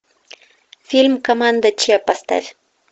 фильм команда че поставь